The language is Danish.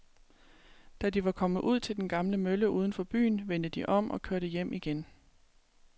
Da de var kommet ud til den gamle mølle uden for byen, vendte de om og kørte hjem igen.